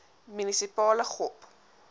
munisipale gop